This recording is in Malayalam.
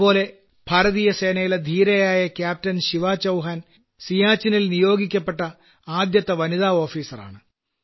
അതുപോലെ ഭാരതീയസേനയിലെ ധീരനായ ക്യാപ്റ്റൻ ശിവാചൌഹാൻ സിയാചിനിൽ നിയോഗിക്കപ്പെട്ട ആദ്യത്തെ വനിതാ ഓഫീസറാണ്